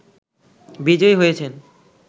বিজয়ী হয়েছেন